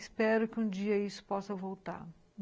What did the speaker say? Espero que um dia isso possa voltar.